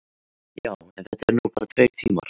Já, en þetta eru nú bara tveir tímar.